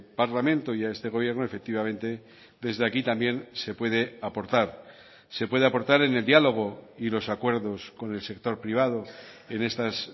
parlamento y a este gobierno efectivamente desde aquí también se puede aportar se puede aportar en el diálogo y los acuerdos con el sector privado en estas